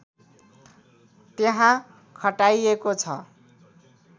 त्यहाँ खटाइएको छ